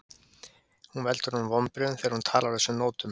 Hún veldur honum vonbrigðum þegar hún talar á þessum nótum.